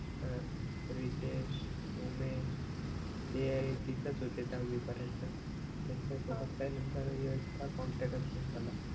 च प्रितेश उमेश ते तिथेच होते दहावी पर्यंत त्यांच्या सोबत काय नंतर इतका कॉन्टॅक्टच नाही झाला